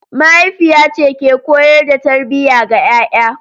Mahaifiya ce ke koyar da tarbiyya ga 'ya'ya.